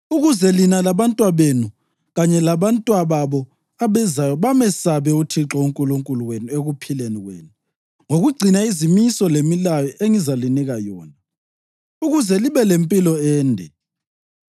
ukuze lina, labantwabenu kanye labantwababo abezayo bamesabe uThixo uNkulunkulu wenu ekuphileni kwenu ngokugcina izimiso lemilayo engizalinika yona, ukuze libe lempilo ende.